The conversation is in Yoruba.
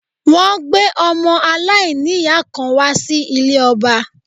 Wọ́n gbé ọmọ aláìníyàá kan wá sí ilé ọba